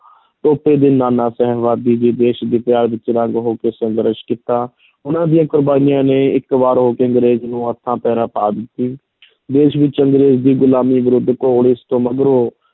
ਟੋਪੇ ਅਤੇ ਨਾਨਾ ਸਾਹਿਬ ਆਦਿ ਨੇ ਦੇਸ਼ ਦੇ ਪਿਆਰ ਵਿੱਚ ਰੰਗ ਹੋ ਕੇ ਸੰਘਰਸ਼ ਕੀਤਾ ਉਨ੍ਹਾਂ ਦੀਆਂ ਕੁਰਬਾਨੀਆਂ ਨੇ ਇਕ ਵਾਰ ਅੰਗਰੇਜ਼ਾਂ ਨੂੰ ਹੱਥਾਂ ਪੈਰਾਂ ਪਾ ਦਿੱਤੀ ਦੇਸ਼ ਵਿੱਚ ਅੰਗਰੇਜ਼ ਦੀ ਗੁਲਾਮੀ ਵਿਰੁੱਧ ਘੋਲ-ਇਸ ਤੋਂ ਮਗਰੋਂ